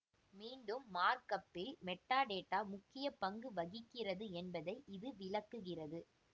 மீண்டும் மார்க்அப் இல் மெட்டாடேட்டா முக்கிய பங்கு வகிக்கிறது என்பதை இது விளக்குகிறது